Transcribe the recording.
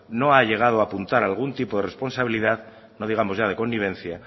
no ha llegado a apuntar algún tipo de responsabilidad no digamos ya de connivencia